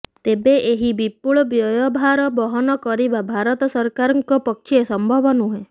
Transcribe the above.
ତେବେ ଏହି ବିପୁଳ ବ୍ୟୟଭାର ବହନ କରିବା ଭାରତ ସରକାରଙ୍କ ପକ୍ଷେ ସମ୍ଭବ ନୁହେଁ